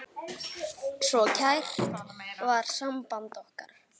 Svo kært var samband okkar.